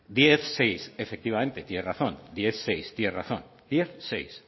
diez barra seis efectivamente tiene razón diez barra seis